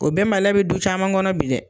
O bɛnbaliya be du caman kɔnɔ bi dɛ!